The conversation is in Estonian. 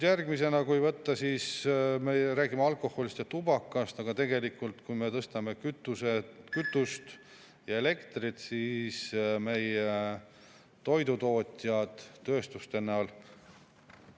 Järgmisena, kui võtta, me räägime alkoholist ja tubakast, aga tegelikult, kui me tõstame kütuse- ja elektri, siis meie toidutootjad tööstuste näol …